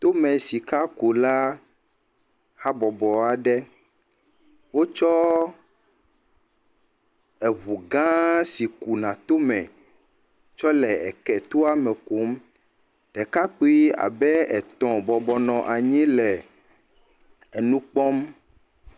Tomesikula habɔbɔ aɖe, wotsɔ eŋu gãa si kuna tome tsɔ le etoa me kum, ɖekakpui abe etɔ̃ bɔbɔ nɔ anyi le enu kpɔm.